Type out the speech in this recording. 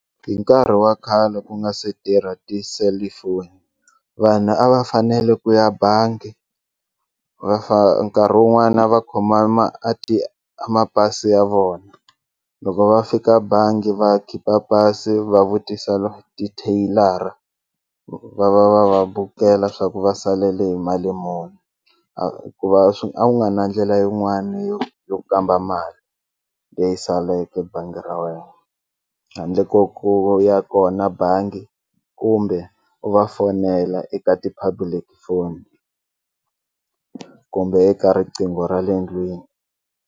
Hi nkarhi wa khale ku nga se tirha tiselifoni vanhu a va fanele ku ya bangi va nkarhi wun'wana va khoma a mapasi ya vona loko va fika bangi va khipa pasi va vutisa titheyilara va va va va bukela swa ku va salele hi mali muni hikuva swi a nga ri na ndlela yin'wani yo yo kamba mali leyi saleke bangi ra wena handle ko ku ya kona bangi kumbe u va fonela eka ti-public phone kumbe eka riqingho ra le ndlwini.